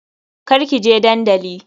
Kar kije dandali.